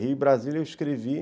Rio e Brasília eu escrevi.